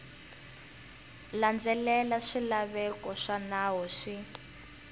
landzelela swilaveko swa nawu swi